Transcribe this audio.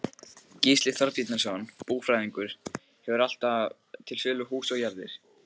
Gísli Þorbjarnarson búfræðingur hefur alltaf til sölu hús og jarðir.